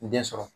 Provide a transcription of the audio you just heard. Den sɔrɔ